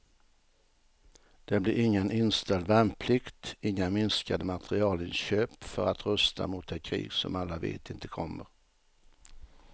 Det blir ingen inställd värnplikt, inga minskade materielinköp för att rusta mot det krig som alla vet inte kommer.